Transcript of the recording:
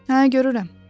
Hə, görürəm.